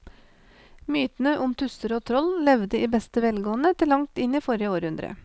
Mytene om tusser og troll levde i beste velgående til langt inn i forrige århundre.